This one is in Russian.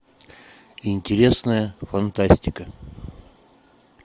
интересная фантастика